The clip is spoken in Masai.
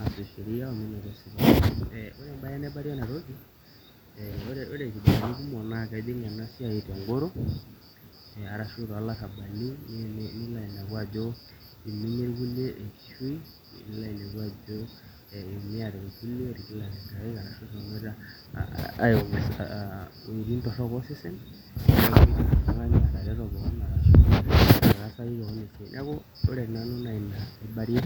aasuj sheria ore embaye naibarie ena toki ore irkijanani kumok naa kejing' ena toki tengoro arashu toolarrabali nilo ainepu ajo eiminie irkulie enkishui nilo ainepu ajo iiumiate irkulie etigilate inkaik arashu eshomoita aiumia iwuejitin torrok osesen nilaikino oltung'ani atareto kewon arashu nilaikino ataasaki kewon esiai, neeku ore nanu naa ina aibarie.